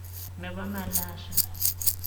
Ne bo Malaysia.